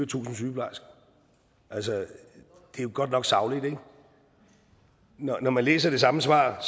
tusind sygeplejersker det er godt nok sagligt ikke når når man læser det samme svar